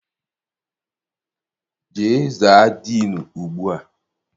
Jee za diinu ugbua!